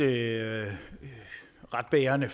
er ret bærende